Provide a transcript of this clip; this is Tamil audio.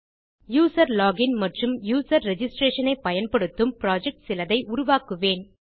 யூசர் லோகின் மற்றும் யூசர் ரிஜிஸ்ட்ரேஷன் ஐ பயன்படுத்தும் புரொஜெக்ட் சிலதை உருவாக்குவேன்